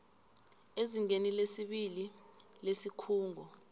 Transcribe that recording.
ezingeni lesibili lesikhungo